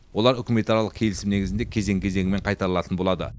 олар үкіметаралық келісім негізінде кезең кезеңімен қайтарылатын болады